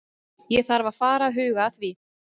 Ég þarf að fara að huga því.